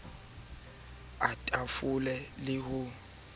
ka masela a tafole le